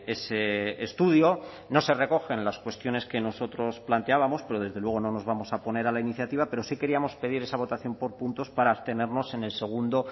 ese estudio no se recogen las cuestiones que nosotros planteábamos pero desde luego no nos vamos a oponer a la iniciativa pero sí queríamos pedir esa votación por puntos para abstenernos en el segundo